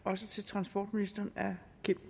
også til transportministeren herre kim